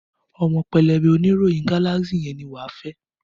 Ọmọ pẹlẹbẹ oníròyìn Galaxy yẹn ni wà á fẹ́.